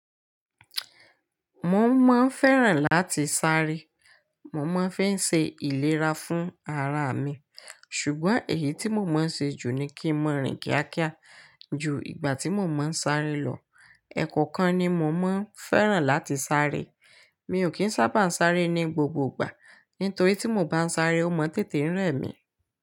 Mò ń máa ń féràn láti sáré. Mò máa ń fi ń se ìlera fún ara mi. Ṣùgbọ́n èyí tí mo máa ń ṣe jù ni kí n maa rìn kíákíá ju ìgbà tí mo máa ń sáré lọ. Ẹ̀kọ̀ọ́kan ni mo maá ń féràn láti sáré. Mi ò kí ń sábà ń sáré ní gbogbo gbà. Nítorí tí mo bá ń sáré, ó máa ń tètè rẹ mi.